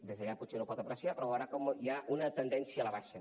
des d’allà potser no ho pot apreciar però veurà com hi ha una tendència a la baixa